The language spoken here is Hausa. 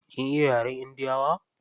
Kin iya yaren indiyawa?